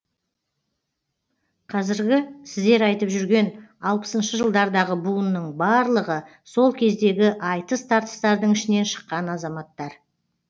қазіргі сіздер айтып жүрген алпысыншы жылдардағы буынның барлығы сол кездегі айтыс тартыстардың ішінен шыққан азаматтар